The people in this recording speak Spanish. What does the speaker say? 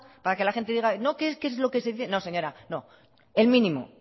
para que la gente diga no que es lo que se dice no señora no el mínimo